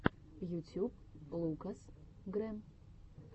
ютюб лукас грэм